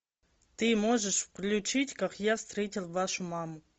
ты можешь включить как я встретил вашу маму